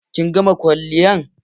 Kin gama kwalliyan?